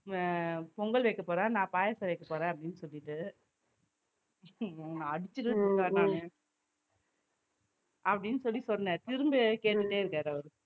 உம் பொங்கல் வைக்கப் போறேன் நான் பாயாசம் வைக்கப் போறேன் அப்படின்னு சொல்லிட்டு அப்படின்னு சொல்லி சொன்னேன். திரும்ப கேட்டுட்டே இருக்காரு அவரு